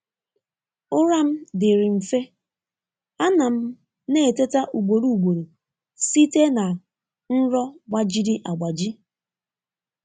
Ụra m dịrị nfe, a na m na-eteta ugboro ugboro site na nrọ gbajiri agbaji.